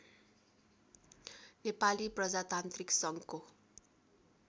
नेपाली प्रजातान्त्रिक सङ्घको